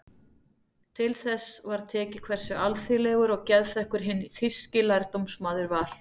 Til þess var tekið hversu alþýðlegur og geðþekkur hinn þýski lærdómsmaður var.